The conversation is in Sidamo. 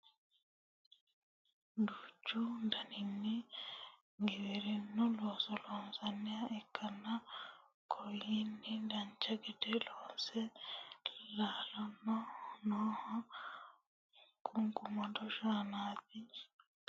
duuchu daninni giwirinnu looso loonsanniha ikkanna kunino dancha gede loonseenna laalani nooho qunqumado shaanaati loonsoonnihuno masimarunniiti kiirosino batinye ikkasi anfanni yaate